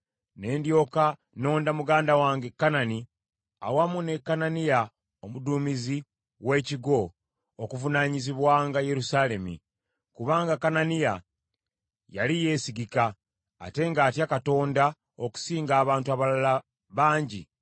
ne ndyoka nonda muganda wange Kanani awamu ne Kananiya omuduumizi w’ekigo okuvunaanyizibwanga Yerusaalemi, kubanga Kananiya yali yeesigika, ate ng’atya Katonda okusinga abantu abalala bangi.